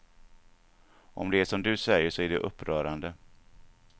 Om det är som du säger så är det upprörande.